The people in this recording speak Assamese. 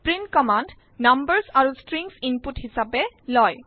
প্ৰিণ্ট কম্মান্দ নাম্বাৰ্ছ আৰু ষ্ট্ৰিংছ ইনপুট হিচাপে লয়